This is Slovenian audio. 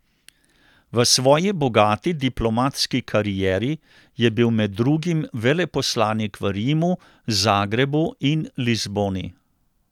V svoji bogati diplomatski karieri je bil med drugim veleposlanik v Rimu, Zagrebu in Lizboni.